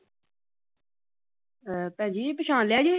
ਭੈਣ ਜੀ, ਪਛਾਣ ਲਿਆ ਜੇ?